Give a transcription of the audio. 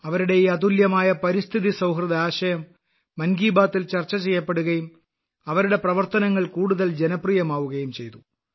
അവരുടെ ഈ അതുല്യമായ പരിസ്ഥിതി സൌഹൃദ ആശയം മൻ കി ബാത്തിൽ ചർച്ച ചെയ്യപ്പെടുകയും അവരുടെ പ്രവർത്തനങ്ങൾ കൂടുതൽ ജനപ്രിയമാവുകയും ചെയ്തു